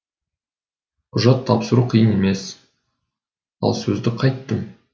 құжат тапсыру қиын емес ал сөзді қайттім